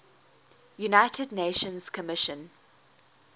united nations commission